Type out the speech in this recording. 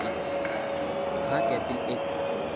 हा त्यातील एक.